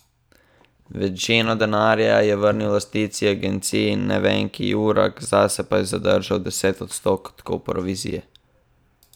Večino denarja je vrnil lastnici agencije Nevenki Jurak, zase pa je zadržal deset odstotkov provizije.